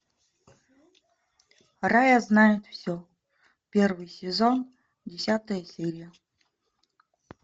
рая знает все первый сезон десятая серия